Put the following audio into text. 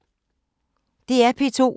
DR P2